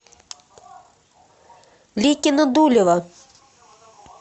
ликино дулево